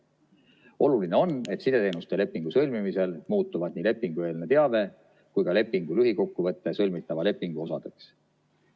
Oluline on, et sideteenuste lepingu sõlmimisel muutuvad nii lepingueelne teave kui ka lepingu lühikokkuvõte sõlmitava lepingu osadeks.